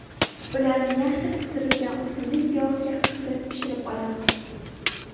Ularni yaxshi qizdirilgan o‘simlik yog‘ida qizartirib pishirib olamiz.